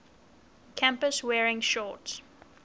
campus wearing shorts